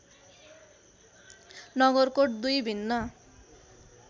नगरकोट दुई भिन्न